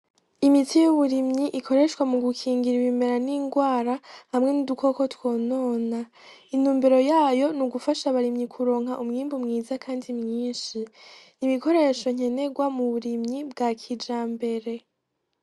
Imiti y'uburimyi ikoreshwa mu gukingira ibimera n'ingwara hamwe n'udukoko twonona , intumbero yayo ni gufasha abarimyi kuronka umwimbu mwiza kandi mwinshi, ibikoresho nkenerwa mu burimyi bwa kijambere.